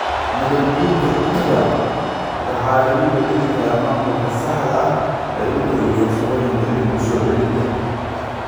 Nabaad-guurka ciidda waxa lagu beddeli karaa maamulka saxda ah ee dhulka iyo farsamooyinka dib u soo celinta.